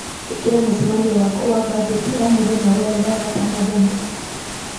ĩkĩra mũcemanio wakwa wa mbanjeti o mũthenya wothe wa gatano thaa inyanya